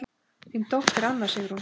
Þín dóttir, Anna Sigrún.